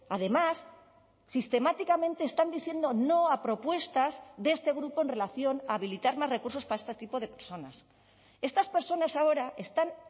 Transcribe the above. además sistemáticamente están diciendo no a propuestas de este grupo en relación a habilitar más recursos para este tipo de personas estas personas ahora están